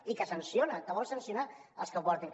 i que sanciona que vol sancionar els que en portin